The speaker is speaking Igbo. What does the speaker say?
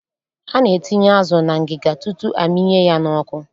A na-etinye azụ na ngịga tutu a mịnye ya n'ọkụ